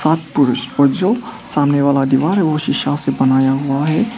बात पुरूष और जो सामने वाला दीवार है वो शिशा से बनाया हुआ है।